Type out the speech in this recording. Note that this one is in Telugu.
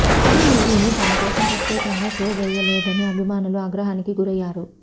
ఈ మూవీని తమకోసం ప్రత్యేకంగా షో వేయలేదని అభిమానులు ఆగ్రహానికి గురయ్యారు